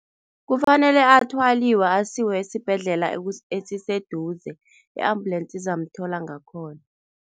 Kufanele athwaliwe asiwe esibhedlela esiseduze, i-ambulensi izamthola ngakhona.